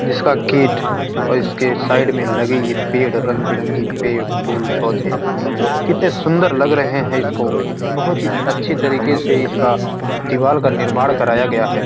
जिसका गेट और इसके साइड में लगे ये पेड़ रंग-बिरंगे पेड़ फूल पौधे कितने सुन्दर लग रहे है इसको बहुत ही अच्छे तरीके से इसका दिवाल का निर्माण कराया गया है।